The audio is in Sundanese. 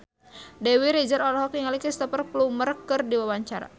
Dewi Rezer olohok ningali Cristhoper Plumer keur diwawancara